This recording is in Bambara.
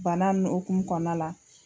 Bana ni okumu kɔnɔna la